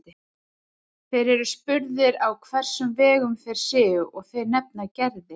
Þeir eru spurðir á hvers vegum þeir séu og þeir nefna Gerði.